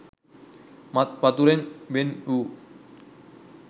මත් වතුරෙන් වෙන් වූ